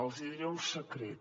els hi diré un secret